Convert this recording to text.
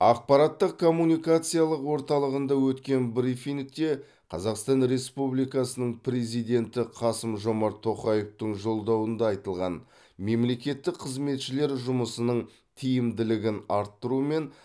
ақпараттық коммуникациялық орталығында өткен брифингте қазақстан республикасының президенті қасым жомарт тоқаевтың жолдауында айтылған мемлекеттік қызметшілер жұмысының тиімділігін арттыру мен